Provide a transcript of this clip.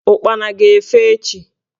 Ụkpana ga-efe echi